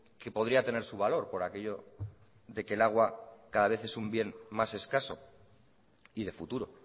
que podría tener su valor por aquello de que el agua cada vez es un bien más escaso y de futuro